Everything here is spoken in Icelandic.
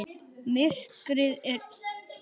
Myrkrið undir sjónum.